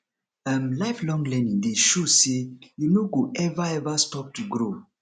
um lifelong learning dey show say you no go ever ever stop to grow